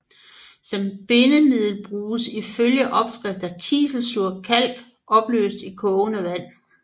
Som bindemiddel bruges ifølge opskrifter kiselsur kalk opløst i kogende vand